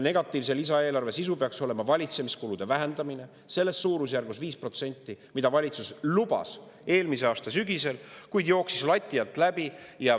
Negatiivse lisaeelarve sisu peaks olema valitsemiskulude vähendamine 5% ehk selles suurusjärgus, mida valitsus lubas eelmise aasta sügisel, kuid jooksis lati alt läbi.